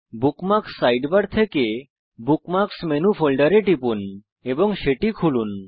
bookmarks sidebar থেকে bookmarks menu ফোল্ডারে টিপুন এবং সেটি খুলুন